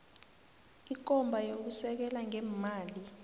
ikomba yokusekela ngeemali